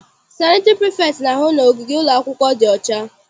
Sanịtịrị prifektị na-ahụ na ogige ụlọakwụkwọ dị ọcha.